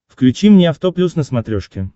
включи мне авто плюс на смотрешке